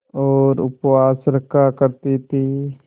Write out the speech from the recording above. और उपवास रखा करती थीं